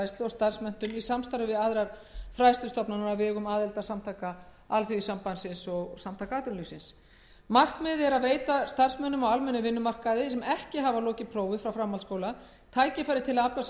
starfsmenntun í samstarfi við aðrar fræðslustofnanir á vegum aðildarsamtaka así og sa markmiðið er að veita starfsmönnum á almennum vinnumarkaði sem ekki hafa lokið prófi frá framhaldsskóla tækifæri til að afla sér